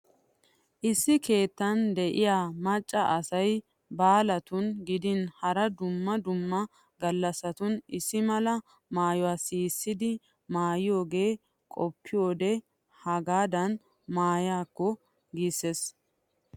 Issi keettan de'iya macca asay baalatun gidin hara dumma dumma gallasatun issi mala maayuwa siisidi maayiyogee qoppiyode haggadan maayiyakko giisses.